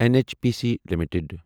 N H P C limited